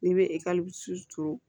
N'i bɛ ekɔli turu